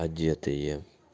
одетые